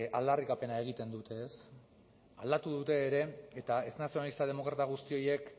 aldarrikapena egiten dute ez aldatu dute ere eta ez nazionalista demokrata guzti horiek